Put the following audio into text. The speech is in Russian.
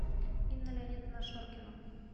инна леонидовна шоркина